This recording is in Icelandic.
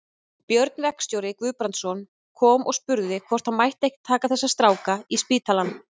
Björn verkstjóri Guðbrandsson kom og spurði hvort hann mætti ekki taka þessa stráka í spítalann.